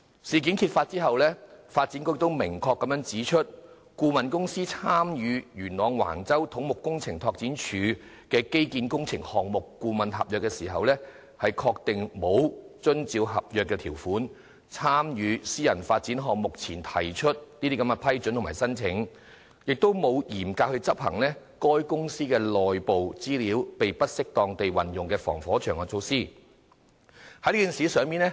事件揭發後，發展局也明確指出，相關顧問公司參與由土木工程拓展署批出的元朗橫洲基建工程項目顧問合約時，確實沒有遵照合約條款，在參與相關私人發展項目前向政府提出申請並獲得批准，也沒有嚴格執行該公司為免內部資料被不適當地運用而制訂的防火牆措施。